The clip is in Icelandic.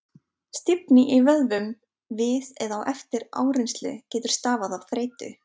Stífni í vöðvum við eða eftir áreynslu getur stafað af þreytu.